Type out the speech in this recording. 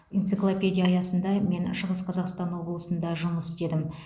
энциклопедия аясында мен шығыс қазақстан облысында жұмыс істедім